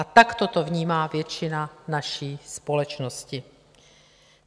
A takto to vnímá většina naší společnosti.